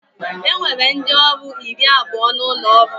E nwere ndị ọrụ iri abụọ n'ụlọ ọrụ m